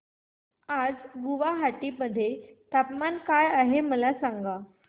आज गुवाहाटी मध्ये तापमान काय आहे मला सांगा